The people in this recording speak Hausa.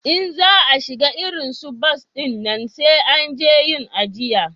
In za a shiga irin su bas dinnan sai an je yin ajiya